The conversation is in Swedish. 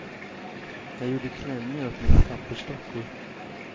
Jag gjorde klänningar åt mina pappersdockor.